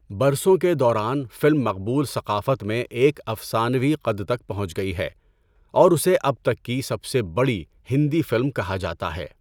برسوں کے دوران فلم مقبول ثقافت میں ایک افسانوی قد تک پہنچ گئی ہے اور اسے اب تک کی سب سے بڑی ہندی فلم کہا جاتا ہے۔